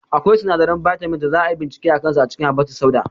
Akwai sinadaran bitamins da za a yi bincike a kansu a cikin habbatussauda